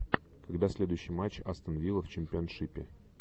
когда следующий матч астон вилла в чемпионшипе